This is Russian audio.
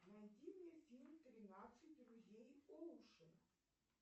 найди мне фильм тринадцать друзей оушена